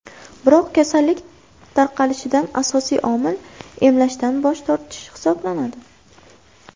Biroq kasallik tarqalishida asosiy omil emlashdan bosh tortish hisoblanadi.